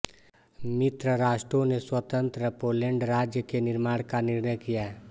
मित्र राष्ट्रों ने स्वतंत्र पोलैण्ड राज्य के निर्माण का निर्णय किया